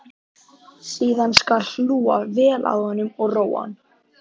Síðan skal hlúa vel að honum og róa hann.